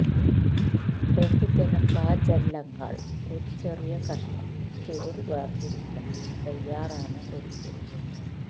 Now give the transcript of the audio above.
ബഹുജന ഫ്ലാജെല്ലങ്ങൾ ഒരു ചെറിയ കഷണം ചുരുൾ വേർതിരിക്കണം തയ്യാറാണ് ഒരിക്കൽ